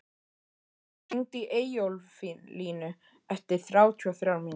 Alisa, hringdu í Eyjólflínu eftir þrjátíu og þrjár mínútur.